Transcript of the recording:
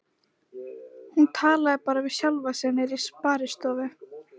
Hún talaði bara við sjálfa sig niðri í sparistofu.